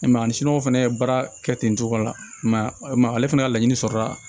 E ma ye ani siniwaw fana ye baara kɛ ten cogo la ma ale fana ka laɲini sɔrɔla